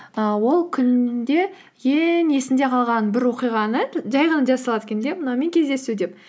і ол күнінде ең есінде қалған бір оқиғаны жай ғана жаза салады екен де мынаумен кездесу деп